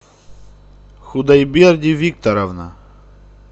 худайберди викторовна